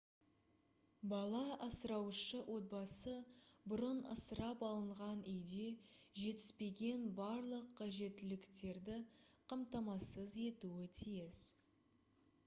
бала асыраушы отбасы бұрын асырап алынған үйде жетіспеген барлық қажеттіліктерді қамтамасыз етуі тиіс